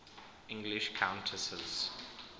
english countesses